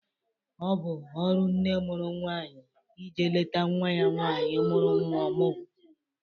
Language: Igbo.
Ọbụ ọrụ nne mụrụ nwaanyị ije leta nwa ya nwaanyị mụrụ nwa ọmụgwọ.